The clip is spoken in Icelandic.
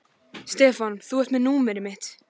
Stefán, þú ert með númerið mitt.